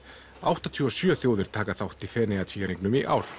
áttatíu og sjö þjóðir taka þátt í Feneyjatvíæringnum í ár